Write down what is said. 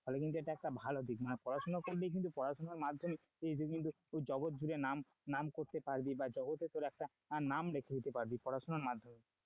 ফলে কিন্তু এটা একটা ভালো দিক মানে পড়াশোনা করলে কিন্তু পড়াশোনার মাধ্যমে তুই জগৎজুড়ে নাম করতে পারবে বা জগতে তোর একটা নাম লিখে দিতে পারবে পড়াশোনার মাধ্যমে,